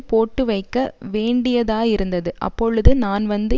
போட்டுவைக்க வேண்டியதாயிருந்தது அப்பொழுது நான் வந்து